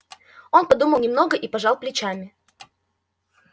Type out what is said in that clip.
он подумал немного и пожал плечами